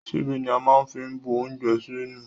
Ṣíbí ni a máa ń fi ń bu oúnje sẹ́nu.